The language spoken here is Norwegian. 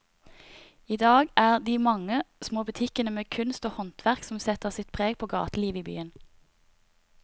I dag er det de mange små butikkene med kunst og håndverk som setter sitt preg på gatelivet i byen.